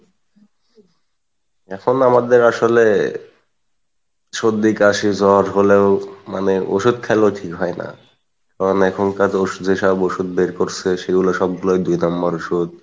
এখন আমাদের আসলে সর্দি কাশি জ্বর হলেও মানে ওষুধ খাইলেও ঠিক হয়না, কারন এখনকার ওষুধে যে সব ওষুধ বের করসে সেগুলো সবগুলাই দুই number ওষুধ